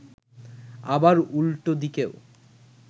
আবার উল্টো দিকেও